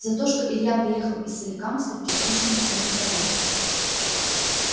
за то что илья приехал из соликамска в кирпичную стену харей